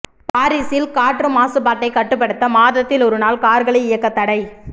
பாரீஸில் காற்று மாசுபாட்டை கட்டுப்படுத்த மாதத்தில் ஒருநாள் கார்களை இயக்க தடை